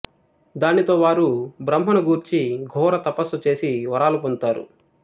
దానితో వారు బ్రహ్మను గూర్చి ఘోర తపస్సు చేసి వరాలు పొందుతారు